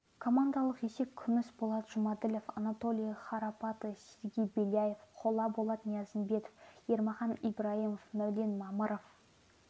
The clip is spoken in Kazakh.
командалық есеп күміс болат жұмаділов анатолий храпатый сергей беляев қола болат ниязымбетов ермахан ибрайымов мәулен мамыров